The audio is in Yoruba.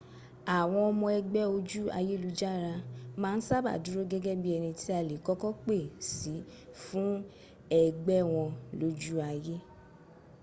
àwọn ọmọ ëgbẹ́ ojú ayélujára ma n sábà dúró gẹ́gẹ́ bí ẹni tí a lè kọ́kọ́ pè sí fún ẹgbẹ́ wọn lojú ayé